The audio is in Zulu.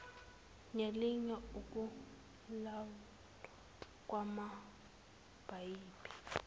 nelinye ukulawulwa kwamapayipi